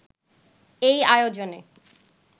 এই আয়োজনে